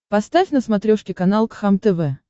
поставь на смотрешке канал кхлм тв